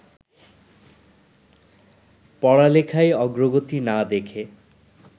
পড়ালেখায় অগ্রগতি না দেখে